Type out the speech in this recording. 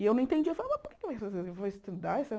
E eu não entendia, eu falava, mas por que eu vou estudar essa?